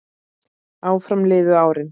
Áfram liðu árin.